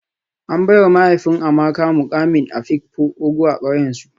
An baiwa mahaifin Amaka mukamin afikpo ogo a kauyensu